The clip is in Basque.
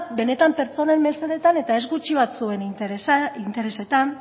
benetan pertsonen mesedetan eta ez gutxi batzuen interesetan